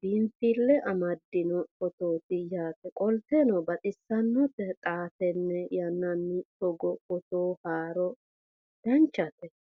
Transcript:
biinsille amaddino footooti yaate qoltenno baxissannote xa tenne yannanni togoo footo haara danvchate